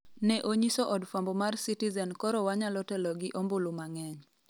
ne onyiso od fwambo mar Citizen koro wanyalo telo gi ombulu mang'eny